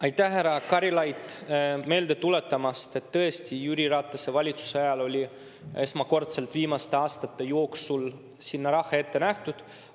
Aitäh, härra Karilaid, meelde tuletamast, et tõesti Jüri Ratase valitsuse ajal oli esmakordselt viimaste aastate jooksul sinna raha ette nähtud!